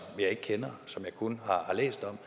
jeg ikke kender og som jeg kun har læst om